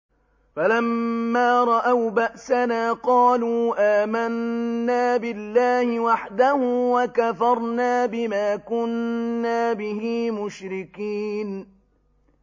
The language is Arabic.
فَلَمَّا رَأَوْا بَأْسَنَا قَالُوا آمَنَّا بِاللَّهِ وَحْدَهُ وَكَفَرْنَا بِمَا كُنَّا بِهِ مُشْرِكِينَ